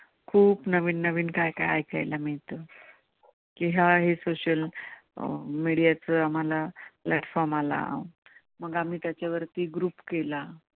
खूप खूप नवीन काय काय ऐकायला मिळतं की ह्या social media च आम्हांला platform आला मग आम्ही त्याच्या वरती group केला.